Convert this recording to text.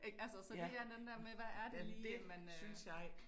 Ik, altså så det er en der med hvad er det lige man øh